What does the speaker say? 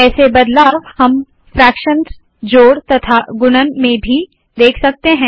ऐसे बदलाव हम फ्राकशंस जोड़ तथा गुणन में भी देख सकते है